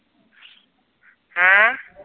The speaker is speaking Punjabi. ਹੈ